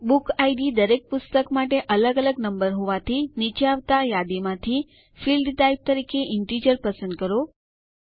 બુકિડ દરેક પુસ્તક માટે અલગ અલગ નંબર હોવાથી નીચે આવતા યાદીમાંથી ફિલ્ડ ટાઇપ તરીકે ઇન્ટિજર પસંદ કરો